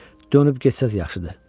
Dönüb getsəniz yaxşıdır.